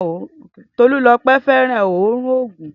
Tolulope, fẹràn òórùn òògùn.